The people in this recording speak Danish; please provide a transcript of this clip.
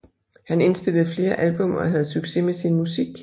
Han indspillede flere album og havde succes med sin musik